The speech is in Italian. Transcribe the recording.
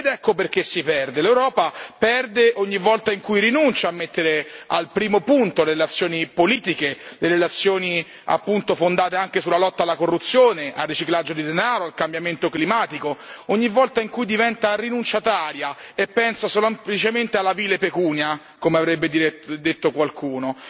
Ed ecco perché si perde l'Europa perde ogni volta in cui rinuncia a mettere al primo posto le relazioni politiche, le relazioni fondate anche sulla lotta alla corruzione, al riciclaggio di denaro, al cambiamento climatico, ogni volta in cui diventa rinunciataria e pensa semplicemente alla vile pecunia, come avrebbe detto qualcuno.